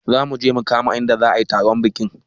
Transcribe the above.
Zamuje mu kama inda za ayi taron bikin